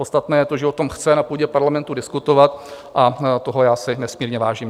Podstatné je to, že o tom chce na půdě parlamentu diskutovat, a toho já si nesmírně vážím.